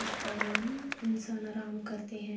اس پر انسان آرام کرتے ہے۔